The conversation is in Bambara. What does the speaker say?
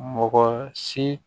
Mɔgɔ si